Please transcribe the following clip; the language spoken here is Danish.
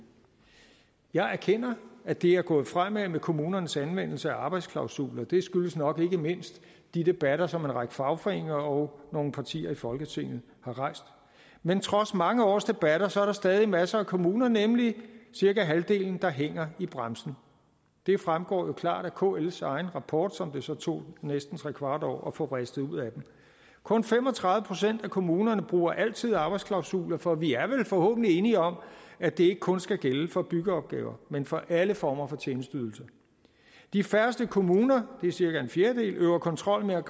jeg erkender at det er gået fremad med kommunernes anvendelse af arbejdsklausuler det skyldes nok ikke mindst de debatter som en række fagforeninger og nogle partier i folketinget har rejst men trods mange års debatter er der stadig masser af kommuner nemlig cirka halvdelen der hænger i bremsen det fremgår jo klart af kls egen rapport som det så tog næsten trekvart år at få vristet ud af dem kun fem og tredive procent af kommunerne bruger altid arbejdsklausuler for vi er vel forhåbentlig enige om at det ikke kun skal gælde for byggeopgaver men for alle former for tjenesteydelser de færreste kommuner det er cirka en fjerdedel øver kontrol med